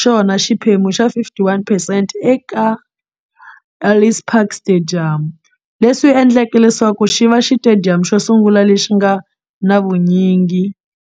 xona xiphemu xa 51 percent eka Ellis Park Stadium, leswi endleke leswaku xiva xitediyamu xosungula lexi nga na vunyingi